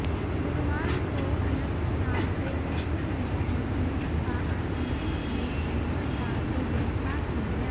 गुरुवार को अनंतनाग से हिजबुल मुजाहिदीन का आतंकी रमीज अहमद डार को गिरफ्तार किया गया